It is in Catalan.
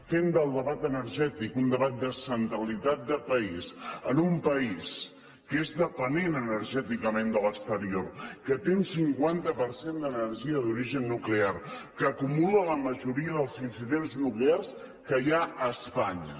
fem del debat energètic un debat de centralitat de país en un país que és dependent energèticament de l’exterior que té un cinquanta per cent d’energia d’origen nuclear que acumula la majoria dels incidents nuclears que hi ha a espanya